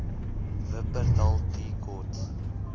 wupperthal tea court